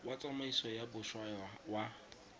wa tsamaiso ya boswa wa